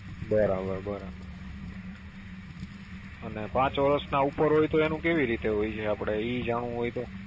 બરાબર બરાબર અને પાંચ વર્ષ ઉપર હોય તો કેવી રીતે હોય છે, આપણે ઈ જાણવું હોય તો